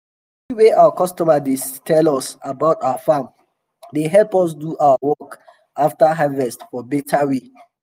tori wey our customers dey tell us about our farm dey help us do our work after harvest for beta way.